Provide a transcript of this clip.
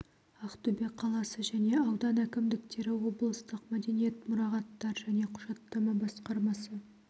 ақтөбе қаласы және аудан әкімдіктері облыстық мәдениет мұрағаттар және құжаттама басқармасы